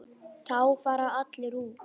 Þá fara allir út.